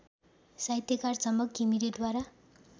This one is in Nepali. साहित्यकार झमक घिमिरेद्वारा